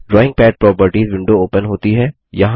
drawing pad properties window open होती है